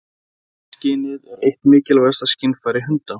Lyktarskynið er eitt mikilvægasta skynfæri hunda.